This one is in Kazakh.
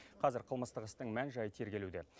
қазір қылмыстық істің мән жайы тергелуде